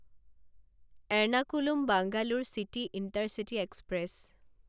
Ernakulam Bangalore city intercity express